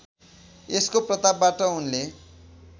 यसको प्रतापबाट उनले